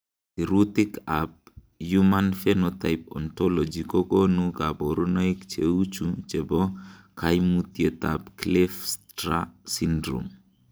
Sirutikab Human Phenotype Ontology kokonu koborunoik cheuchu chebo koimutietab Kleefstra syndrom .